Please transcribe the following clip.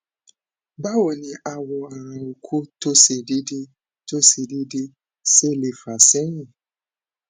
bawoni awo ara oko to se dede to se dede sele fa sehin